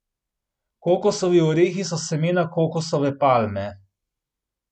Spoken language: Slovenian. Kokosovi orehi so semena kokosove palme.